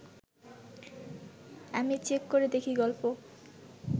আমি চেক করে দেখি গল্প